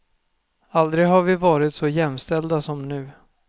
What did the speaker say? Aldrig har vi varit så jämställda som nu.